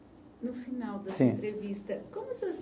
No final dessa entrevista. Como o senhor